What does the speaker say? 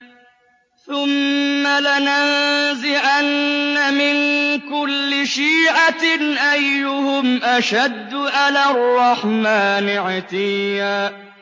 ثُمَّ لَنَنزِعَنَّ مِن كُلِّ شِيعَةٍ أَيُّهُمْ أَشَدُّ عَلَى الرَّحْمَٰنِ عِتِيًّا